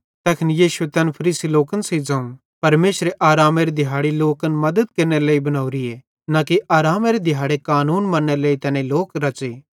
तैखन यीशुए तैन फरीसी लोकन सेइं ज़ोवं परमेशरे आरामेरी दिहाड़ी लोकन मद्दत केरनेरे लेइ बनोरीए न कि आरामेरे दिहाड़ेरे कानून मन्नेरे लेइ तैनी लोक रच़े